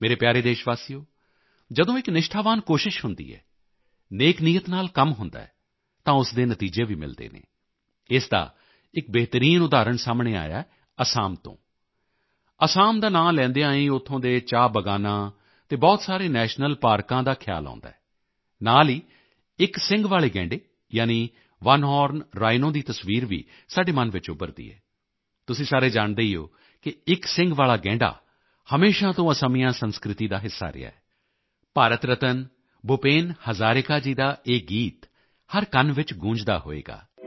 ਮੇਰੇ ਪਿਆਰੇ ਦੇਸ਼ਵਾਸੀਓ ਜਦੋਂ ਇੱਕ ਨਿਸ਼ਠਾਵਾਨ ਕੋਸ਼ਿਸ਼ ਹੁੰਦੀ ਹੈ ਨੇਕ ਨੀਅਤ ਨਾਲ ਕੰਮ ਹੁੰਦਾ ਹੈ ਤਾਂ ਉਸ ਦੇ ਨਤੀਜੇ ਵੀ ਮਿਲਦੇ ਹਨ ਇਸ ਦਾ ਇੱਕ ਬਿਹਤਰੀਨ ਉਦਾਹਰਣ ਸਾਹਮਣੇ ਆਇਆ ਹੈ ਅਸਾਮ ਤੋਂ ਅਸਾਮ ਦਾ ਨਾਮ ਲੈਂਦਿਆਂ ਹੀ ਉੱਥੋਂ ਦੇ ਚਾਹ ਬਾਗਾਨਾਂ ਅਤੇ ਬਹੁਤ ਸਾਰੇ ਨੈਸ਼ਨਲ ਪਾਰਕਾਂ ਦਾ ਖਿਆਲ ਆਉਂਦਾ ਹੈ ਨਾਲ ਹੀ ਇੱਕ ਸਿੰਗ ਵਾਲੇ ਗੈਂਡੇ ਯਾਨੀ ਓਨੇ ਹੋਰਨ ਰਾਈਨੋ ਦੀ ਤਸਵੀਰ ਵੀ ਸਾਡੇ ਮਨ ਵਿੱਚ ਉੱਭਰਦੀ ਹੈ ਤੁਸੀਂ ਸਾਰੇ ਜਾਣਦੇ ਹੋ ਕਿ ਇੱਕ ਸਿੰਗ ਵਾਲਾ ਗੈਂਡਾ ਹਮੇਸ਼ਾ ਤੋਂ ਅਸਮੀਆ ਸੰਸਕ੍ਰਿਤੀ ਦਾ ਹਿੱਸਾ ਰਿਹਾ ਹੈ ਭਾਰਤ ਰਤਨ ਭੁਪੇਨ ਹਜ਼ਾਰਿਕਾ ਜੀ ਦਾ ਇਹ ਗੀਤ ਹਰ ਕੰਨ ਵਿੱਚ ਗੂੰਜਦਾ ਹੋਵੇਗਾ